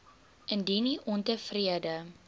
indien u ontevrede